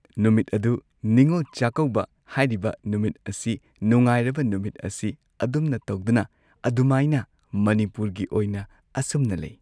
ꯅꯨꯃꯤꯠ ꯑꯗꯨ ꯅꯤꯉꯣꯜ ꯆꯥꯛꯀꯧꯕ ꯍꯥꯏꯔꯤꯕ ꯅꯨꯃꯤꯠ ꯑꯁꯤ ꯅꯨꯡꯉꯥꯏꯔꯕ ꯅꯨꯃꯤꯠ ꯑꯁꯤ ꯑꯗꯨꯝꯅ ꯇꯧꯗꯨꯅ ꯑꯗꯨꯃꯥꯏꯅ ꯃꯅꯤꯄꯨꯔꯒꯤ ꯑꯣꯏꯅ ꯑꯁꯨꯝꯅ ꯂꯩ꯫